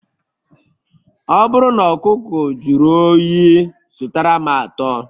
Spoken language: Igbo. Ọ bụrụ na ọkụkọ jụrụ oyi, zụtara m atọ